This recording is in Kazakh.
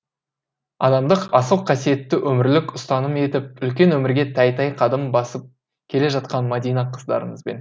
адамдық асыл қасиетті өмірлік ұстаным етіп үлкен өмірге тәй тәй қадам басып келе жатқан мадина қыздарыңызбын